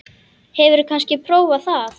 Hefurðu kannski prófað það?